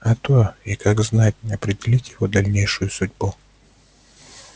а то и как знать определить его дальнейшую судьбу